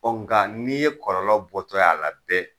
Ɔ nga n'i ye kɔlɔlɔ bɔtɔ ye a la bɛ